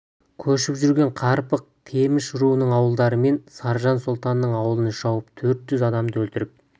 көшіп жүрген қарпық темеш руының ауылдары мен саржан сұлтанның ауылын шауып төрт жүз адамды өлтіріп